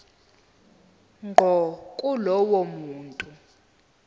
ngqo kulowo muntu